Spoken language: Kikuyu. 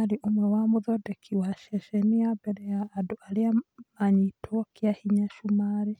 arĩ ũmwe wa mũthondeki wa ceceni ya mbere ya andũ arĩa manyitwo kĩahinya Cumarĩ.